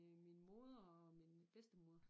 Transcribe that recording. Øh min moder og min bedstemor